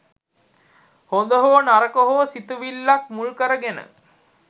හොඳ හෝ නරක හෝ සිතිවිල්ලක් මුල් කරගෙන